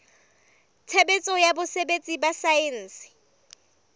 tshebetso ya botsebi ba saense